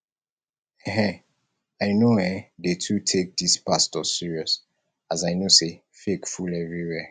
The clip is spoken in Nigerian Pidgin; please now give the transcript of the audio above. um i no um dey too take dese pastors serious as i know sey fake full everywhere